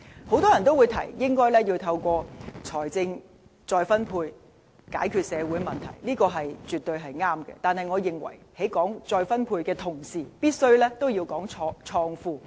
很多人提到，應該透過財富再分配以解決社會問題，這是絕對正確的，但我認為在談論再分配的同時，必須同時談論創富。